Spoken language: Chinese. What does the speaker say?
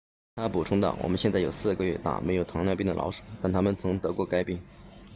他补充道我们现在有4个月大没有糖尿病的老鼠但它们曾经得过该病